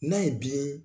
N'a ye biyɛn